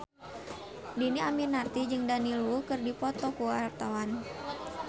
Dhini Aminarti jeung Daniel Wu keur dipoto ku wartawan